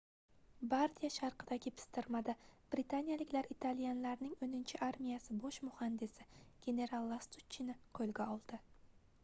bardiya sharqidagi pistirmada britaniyaliklar italyanlarning oʻninchi armiyasi bosh muhandisi genaral lastuchchini qoʻlga oldi